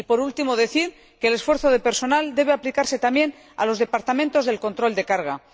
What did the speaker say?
Por último, decir que el esfuerzo de personal debe aplicarse también a los departamentos de control de carga.